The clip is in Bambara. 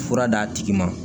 Fura d'a tigi ma